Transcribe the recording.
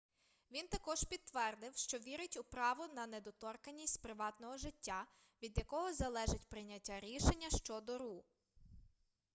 він також підтвердив що вірить у право на недоторканність приватного життя від якого залежить прийняття рішення щодо ру